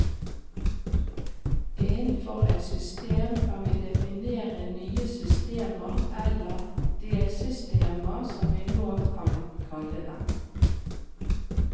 Innenfor et system kan vi definere nye systemer, eller delsystemer som vi nå kan kalle dem.